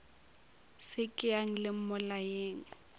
se ke yang le mmolayeng